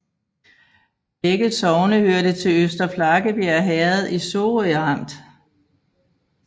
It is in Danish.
Begge sogne hørte til Øster Flakkebjerg Herred i Sorø Amt